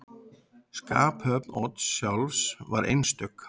Skaphöfn Odds sjálfs var einstök.